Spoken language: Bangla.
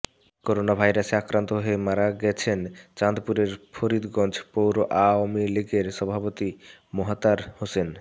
করোনাভাইরাসে আক্রান্ত হয়ে মারা গেছেন চাঁদপুরের ফরিদগঞ্জ পৌর আওয়ামী লীগের সভাপতি মোতাহার হোসেন